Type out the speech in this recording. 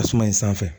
Tasuma in sanfɛ